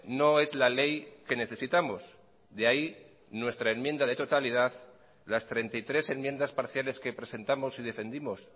no es la ley que necesitamos de ahí nuestra enmienda de totalidad las treinta y tres enmiendas parciales que presentamos y defendimos